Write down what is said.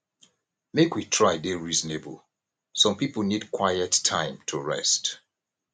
make we try dey reasonable some pipo need quiet time to rest